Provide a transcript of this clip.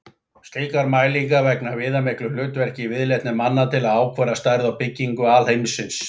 Slíkar mælingar gegna viðamiklu hlutverki í viðleitni manna til að ákvarða stærð og byggingu alheimsins.